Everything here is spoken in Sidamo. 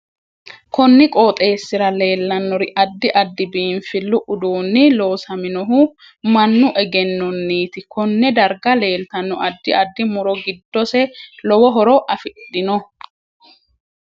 konni qooxeesira leelanori addi addi biinfillu uduuni loosaminohu mannu egenoniiti konne dargga leeltanno addi addi muro giddose lowo horo afidhinno